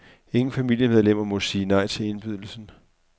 Ingen familiemedlemmer må sige nej til indbydelsen.